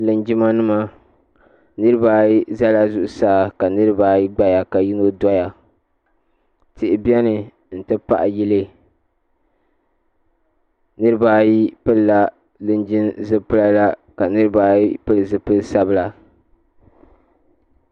Linjima nima niriba ayi zala zuɣusaa ka. niriba ayi gbaya ka yino doya tihi bɛni n ti pahi yilli niriba ayi pilila linjima zipila la ka niriba ayi pili zipiligu sabila.